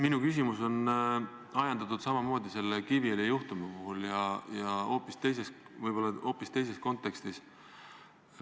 Minu küsimus on ajendatud samamoodi sellest Kiviõli juhtumist, aga on võib-olla hoopis teises kontekstis.